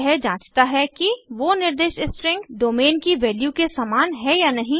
यह जांचता है कि वो निर्दिष्ट स्ट्रिंग डोमेन की वैल्यू के समान है या नहीं